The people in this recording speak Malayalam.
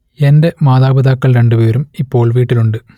എന്റെ മാതാപിതാക്കൾ രണ്ടുപേരും ഇപ്പോൾ വീട്ടിലുണ്ട്